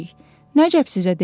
Nəcab sizə deməyib.